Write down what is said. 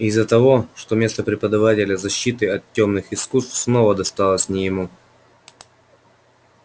из-за того что место преподавателя защиты от тёмных искусств снова досталось не ему